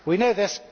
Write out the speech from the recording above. We know this